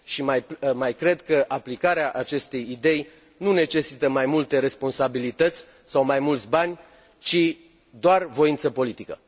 Și mai cred că aplicarea acestei idei nu necesită mai multe responsabilități sau mai mulți bani ci doar voință politică.